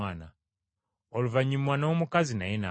Oluvannyuma n’omukazi naye n’afa.